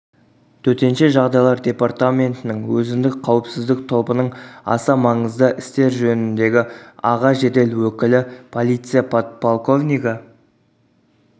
төтенше жағдайлар департаментінің өзіндік қауіпсіздік тобының аса маңызды істер жөніндегі аға жедел өкілі полиция подполковнигі